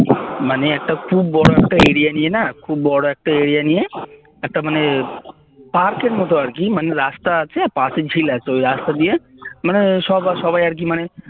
মানে একটা খুব বড় একটা area নিয়ে না খুব বড় একটা area নিয়ে একটা মানে পার্কের মত আরকি রাস্তা আছে আর পাশে ঝিল আছে ওই রাস্তা দিয়ে মানে সব মানে সবাই আরকি মানে